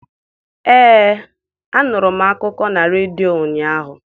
Ee, anụrụ m akụkọ na redio ụnyaahụ.